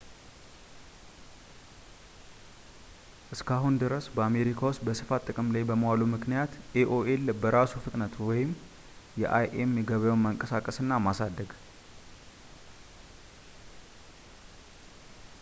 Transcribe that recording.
እስከ አሁን ድረስ፣ በአሜሪካ ውስጥ በስፋት ጥቅም ላይ በመዋሉ ምክንያት ኤ.ኦ.ኤል በራሱ ፍጥነት የአይ.ኤም ገበያውን ማንቀሳቀስ እና ማሳደግ